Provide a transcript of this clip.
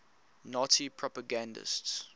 nazi propagandists